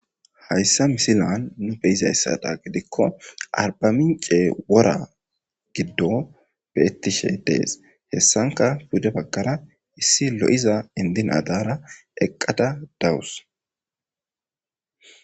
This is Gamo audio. Hayssa misilen nu be'iza mala gidikko arba mincce wora giddon be'etshe de'es. Hessankka pude baggara issi lo'iza inddi naa daara eqqada dawus.